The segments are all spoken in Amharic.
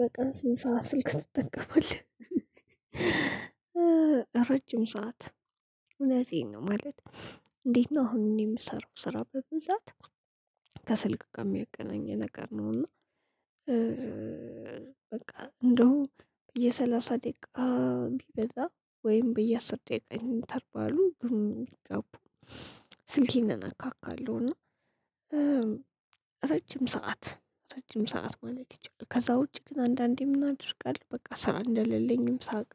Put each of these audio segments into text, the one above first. በቃ ስንት ሰዓት ስልክ ትጠቀማለህ ረጅም ሰዓት እውነቴን ነው ማለት። እንዴት ነው። አሁን እኔ የምሰራው ስራ በብዛት ከስልክ ጋር የሚያገናኝ ነገር ነው። እና በቃ እንደው የሰላሳ ደቂቃ ቢበዛ ወይም በየአስር ደቂቃ እንተርቫሉ ግን ጋፑ ስልኬን እነካካለሁ እና ረጅም ሰዓት ረጅም ሰዓት ማለት ይቻላል። ከዛ ውጪ ግን አንዳንዴ ምን አደርጋለሁ በቃ ስራ እንደሌለኝም ሳቅ።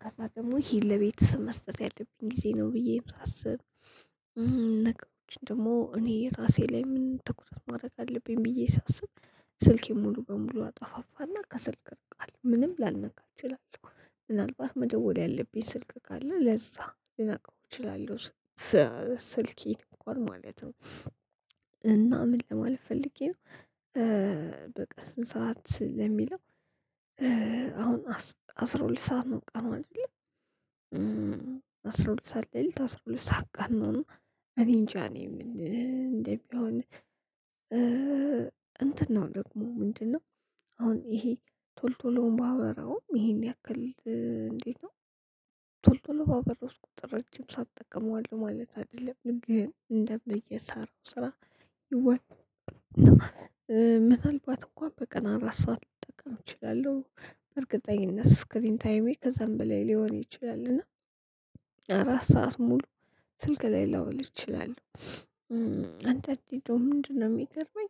ከዛ ደግሞ ይሄን ለቤት መስጠት ያለብኝ ጊዜ ነው። ብዬ ሳስብ ነገሮች ደግሞ እኔ እራሴ ላይ ምን ትኩረት ማድረግ አለብኝ ብዬ ሳስብ። ስልኬን ሙሉ በሙሉ አጠፋፋና ከስልክ ምንም ላልነካ እችላለሁ። ምናልባት መደወል ያለብኝ ስልክ ካለ ለዛ ልነካው እችላለሁ። ስልኬን እንኳን ማለት ነው። እና ምን ለማለት ፈልጌ ነው። በቃ ስንት ሰዓት ለሚለው? አሁን አስራ ሁለት ሰዓት ነው ቀኑ አይደለ? አስራ ሁለት ሰዓት ለሊት አስራ ሁለት ሰዓት ቀን ነው። እኔ እንጃ እኔ ምን እንደሚሆን። እንትን ነው ደግሞ ምንድነው? አሁን ይሄ ቶሎ ቶሎ ባወራው ይሄን ያክል እንዴት ነው? ቶሎ ቶሎ ባበራሁት ቁጥር ረጅም ሰዓት እጠቀመዋለሁ ማለት አይደለም ግን እንደየምሰራው ስራ ይወሰናል። ምናልባት እንኳን በቀን አራት ሰዓት ልጠቀም እችላለሁ በእርግጠኝነት ስክሪን ታይሜ ከዛም በላይ ሊሆን ይችላል። እና አራት ሰዓት ሙሉ ስልክ ላይ ልውል እችላለሁ። አንዳንዴ እንደውም ምንድነው የሚገርመኝ?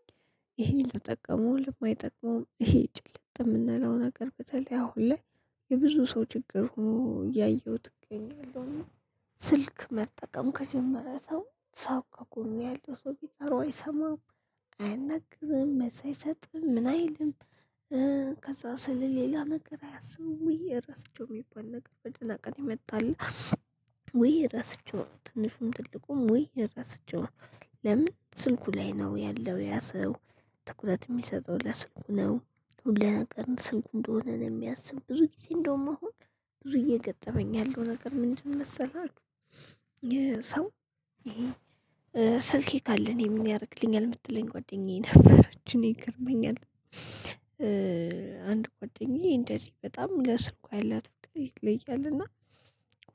ይሄ ለጠቀመውም ለማይጠቅመውም ይሄ ጭልጥ የምንለው ነገር በተለይ አሁን ላይ የብዙ ሰው ችግር ሆኖ እያየሁት እገኛለሁ። እና ስልክ መጠቀም ከጀመረ ሰው ሰው ከጎኑ ያለ ሰው ቢጠራው አይሰማም። አያናግርም መልስ አይሰጥም ምን አይልም። ስለ ሌላ ነገር አያስብም። ውይ ረስቼው የሚባል ነገር በጭንቀት የመጣልህ ውይ ረስቼው ነው። ትንሹም ትልቁም ውይ ረስቼው ነው። ለምን ስልኩ ላይ ነው ያለው ያ ሰው። ትኩረት የሚሰጠው ለስልኩ ነው። ሁ ነገር ስልኩ እንደሆነ ነው የሚያስበው ብዙ ጊዜ እንደውም አሁን ብዙ እየገጠመኝ ያለው ነገር ምንድነው መሰላችሁ? ይሄ ሰው ስልኬ ካለ እኔ ምን ያደርግልኛል የምትለኝ ጓደኛዬ ነበረች እኔ ይገርመኛል። አንድ ጓደኛዬ እንደዚህ በጣም ለስልኳ ያላት ፍቅር ይለያል። እና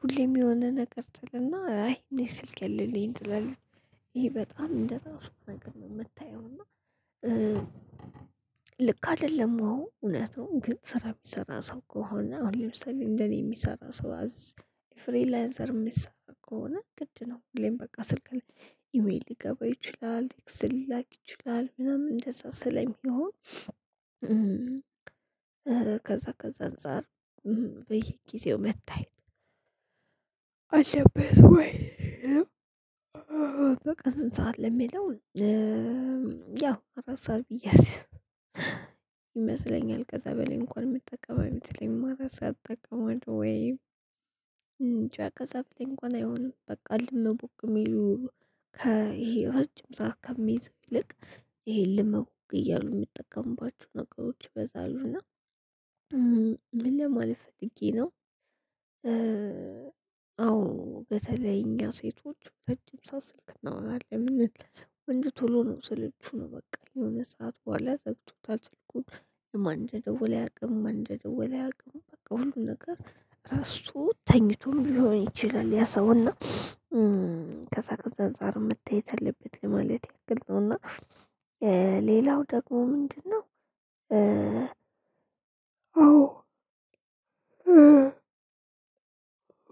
ሁሌም የሆነ ነገር ትልና አይ እኔ ስልኬ አለልኝ ትላለች ይሄ በጣም እንደራሱ ነገር ነው የምታየው። እና ልክ አይደለም አዎ እውነት ነው። ግን ስራ የሚሰራ ሰው ከሆነ አሁን ለምሳሌ እንደኔ የሚሰራ ሰው አዝ ፍሪላንሰር የሚሰራ ከሆነ ግድ ነው። ሁሌም በቃ ስልክ ላይ ኢሜል ሊገባ ይችላል ኢክስ ሊላክ ይችላል ምናምን እንደዛ ስለሚሆን። ከዛ ከዛ እንጻር። በየጊዜው መታየት አለበት ወይ? በቃ ስንት ሰዓት ለሚለው ያው አራት ሰዓት ብዬ አስብ ይመስለኛል ከዛ በላይ እንኳን የምጠቀም አይመስለኝም። አራት ሰዓት እጠቀማለሁ ወይም ጫጫ ከሰፍሌ እንኳን አይሆንም። በቃ እልም ቡክብቅ የሚሉ ይሄ እረጅም ሰዓት ከሚይዝ ይልቅ ይሄ ልመው እያሉ የሚጠቀሙባቸው ነገሮች ይበዛሉ። እና ምን ለማለት ፈልጌ ነው። አዎ በተለይ እኛ ሴቶች ረጅም ሰዓተሰ ስልክ እናወራለን። ወንድ ቶሎ ነው ስልቹ ነው በቃ የሆነ ሰዓት በኋላ ዘግቶታል ስልኩን ማን እንደወለ ያውቅም ማን እንደወለ አያውቅም። በቃ ሁሉ ነገር ሬራሺ ተኝቶም ሊሆን ይችላል። ያ ሰውና ከዛ ከዛ አንፃር መታየት አለበት ለማለት ያክል ነው። እና ሌላው ደግሞ ምንድነው? አዎ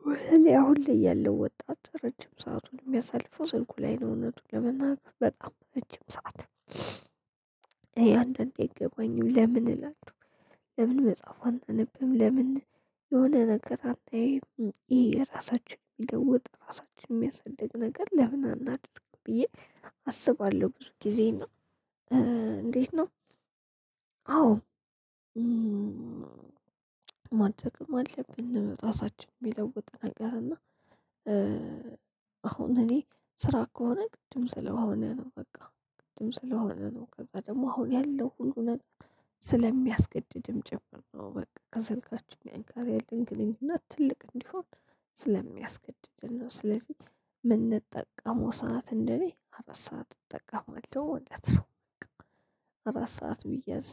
በተለይ አሁን ላይ ያለው ወጣት ረጅም ሰአቱን የሚያሳልፈው ስልኩ ላይ ነው። እውነቱን ለመናገር በጣም ረጅም ሰዓት እን አንዳንዴ አይገባኝ ለምን እላለሁ። ለምን መጽሐፏን አታነብም ለምን የሆነ ነገር አታዮም። ይሄ የራሳችን የሚለውጥ ራሳችን የሚያሳድግ ነገር ለምን አናድርግም ብዬ? አስባለሁ ብዙ ጊዜ እና። እንዴት ነው? አዎ ማድረግም አለብን እራሳችን የሚለውጥ ነገር እና አሁን እኔ ስራ ከሆነ ግድም ስለሆነ ነው። በቃ ግድም ስለሆነ ነው። ከዛ ደግሞ አሁን ያለው ሁሉ ነገር ስለሚያስገድድም ጭምር ነው። በቃ ከስልካችን ጋር ያለን ግንኙነት ትልቅ እንዲሆን ስለሚያስገድደን ነው። ስለዚህ ምንጠቀመው ሰዓት እንደኔ አራት ሰዓት እጠቀማለሁ ማለት ነው። በቃ አራት ሰዓት ቢያዝ